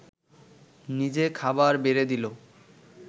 নিজে খাবার বেড়ে দিল